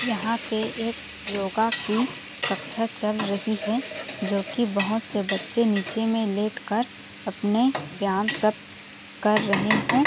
यहाँ पे एक योगा की कक्षा चल रही है जोकी बहुत से बच्चे निचे में लेट कर अपने व्यायाम सब कर रहे है।